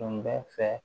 Tun bɛ fɛ